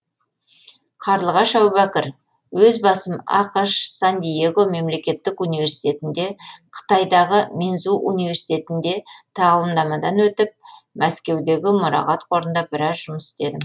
қарлығаш әубәкір өз басым ақш сан диего мемлекеттік университетінде қытайдағы минзу университетінде тағылымдамадан өтіп мәскеудегі мұрағат қорында біраз жұмыс істедім